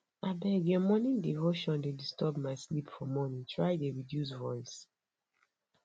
abeg your morning devotion dey disturb my sleep for morning try dey reduce voice